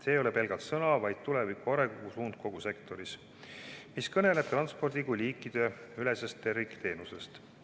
Need ei ole pelgalt sõnad, vaid tuleviku arengusuund kogu sektoris, mis kõneleb transpordist kui liikideülesest tervikteenusest.